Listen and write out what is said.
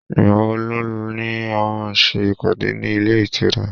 igbawo lo ni a má ṣe ìpàdé ní ile itura